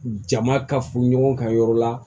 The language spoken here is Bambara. Jama ka fu ɲɔgɔn ka yɔrɔ la